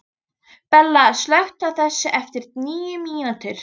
Bella, slökktu á þessu eftir níu mínútur.